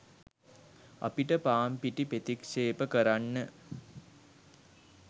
අපිට පාන්පිටි ප්‍රතික්‍ෂේප කරන්න